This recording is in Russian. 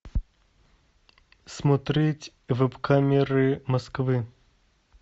смотреть веб камеры москвы